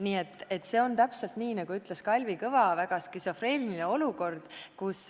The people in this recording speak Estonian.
Nii et see on, nagu ütles Kalvi Kõva, väga skisofreeniline olukord.